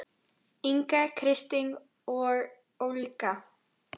Inga, Kristín og Olga.